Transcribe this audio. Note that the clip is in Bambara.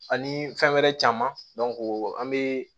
Ani fɛn wɛrɛ caman an be